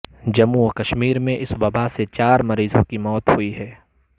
جموں وکشمیر میں اس وبا سے چار مریضوں کی موت ہوئی ہے